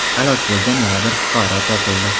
halok bo‘lgan yana bir fuqaro topildi.